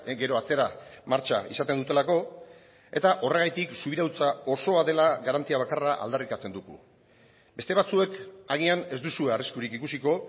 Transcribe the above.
gero atzera martxa izaten dutelako eta horregatik subirautza osoa dela garantia bakarra aldarrikatzen dugu beste batzuek agian ez duzue arriskurik ikusiko